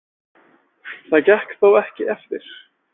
Það gekk þó ekki eftir.